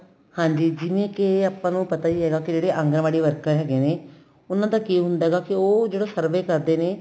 ਹਾਂਜੀ ਜਿਵੇਂ ਕਿ ਆਪਾਂ ਨੂੰ ਪਤਾ ਈ ਏ ਹੈਗਾ ਕੀ ਜਿਹੜੇ ਆਂਗਨਵਾੜੀ worker ਹੈਗੇ ਨੇ ਉਹਨਾ ਦਾ ਕੀ ਹੁੰਦਾ ਹੈਗਾ ਕੀ ਉਹ ਜਿਹੜਾ survey ਕਰਦੇ ਨੇ